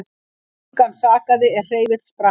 Engan sakaði er hreyfill sprakk